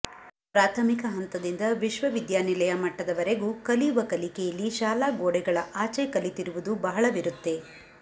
ಪ್ರಾಥಮಿಕ ಹಂತದಿಂದ ವಿಶ್ವವಿದ್ಯಾನಿಲಯ ಮಟ್ಟದವರೆಗೂ ಕಲಿಯುವ ಕಲಿಕೆಯಲ್ಲಿ ಶಾಲಾ ಗೋಡೆಗಳ ಆಚೆ ಕಲಿತಿರುವುದು ಬಹಳವಿರುತ್ತೆ